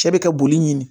Cɛ bɛ ka boli ɲini